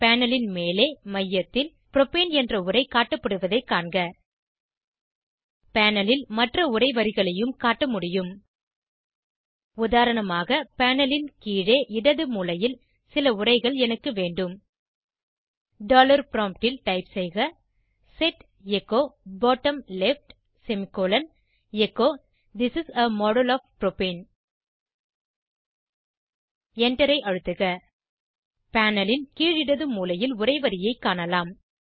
panel ன் மேலே மையத்தில் புரோப்பேன் என்ற உரை காட்டப்படுவதை காணலாம் பேனல் ல் மற்ற உரை வரிகளையும் காட்டமுடியும் உதாரணமாக பேனல் ன் கீழே இடது மூலையில் சில உரைகள் எனக்கு வேண்டும் டாலர் ப்ராம்ப்ட் ல் டைப் செய்க set echo bottom left semicolon echo this is a model of propane Enter ஐ அழுத்துக பேனல் ன் கீழ் இடது மூலையில் உரை வரியை காணலாம்